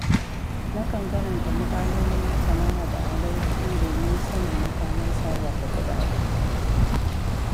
Nakan karanta muƙalolin masana hada-hadar kuɗi domin sanin makamar sarrafa kuɗaɗe.